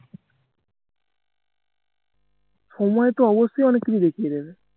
সময়তো অবশ্যই অনেক কিছু দেখিয়ে দেবে